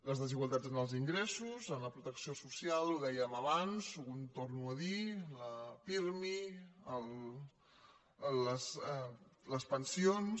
les desigualtats en els ingressos en la protecció social ho dèiem abans ho torno a dir la pirmi les pensions